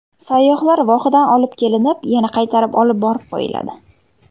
Sayyohlar vohadan olib kelinib, yana qaytarib olib borib qo‘yiladi.